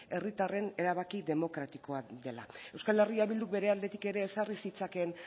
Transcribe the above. herritarren erabaki demokratikoa dela euskal herria bilduk bere aldetik ere ezarri zitzakeen